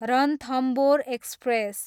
Ranthambore express